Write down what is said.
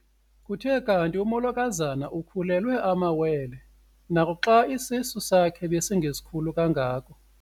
Kuthe kanti umolokazana ukhulelwe amawele naxa isisu sakhe besingesikhulu kangako.